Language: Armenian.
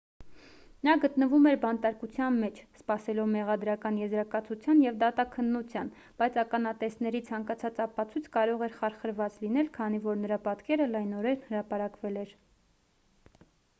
նա գտնվում էր բանտարկության մեջ սպասելով մեղադրական եզրակացության և դատաքննության բայց ականատեսների ցանկացած ապացույց կարող էր խարխրված լինել քանի որ նրա պատկերը լայնորեն հրապարակվել էր